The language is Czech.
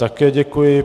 Také děkuji.